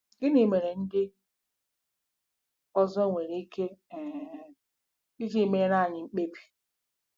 Gịnị mere ndị ọzọ nwere ike um iji meere anyị mkpebi?